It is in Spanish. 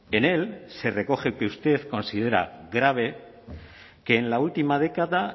en él se recoge que usted considera grave que en la última década